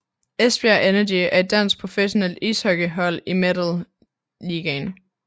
Esbjerg Energy er et dansk professionelt ishockeyhold i Metal Ligaen